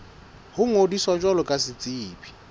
ho ngodisa jwalo ka setsebi